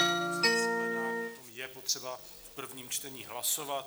Je potřeba v prvním čtení hlasovat.